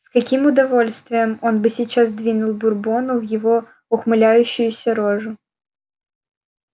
с каким удовольствием он бы сейчас двинул бурбону в его ухмыляющуюся рожу